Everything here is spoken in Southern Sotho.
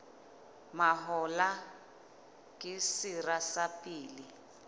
mahola ke sera sa pele